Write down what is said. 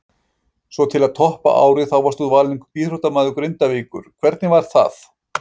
Svo til að toppa árið þá varst þú valinn íþróttamaður Grindavíkur, hvernig var það?